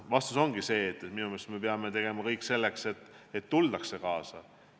Vastus ongi see, et minu meelest me peame tegema kõik selleks, et tuldaks kaasa.